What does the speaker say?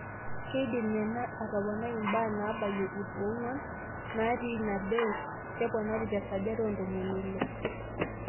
Keidim ena atoponai imbaa naabayia ip ong'uan naati ina bes, keponari tesajati oontomoni ile.